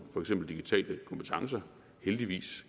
for eksempel digitale kompetencer heldigvis